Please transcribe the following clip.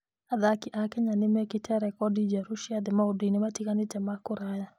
Athaki a Kenya nĩ mekĩte rekondi njerũ cia thĩ maũndũ-inĩ matiganĩte ma kũraya.